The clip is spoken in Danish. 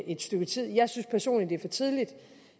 et stykke tid jeg synes personligt det er for tidligt